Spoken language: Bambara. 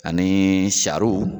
Ani saro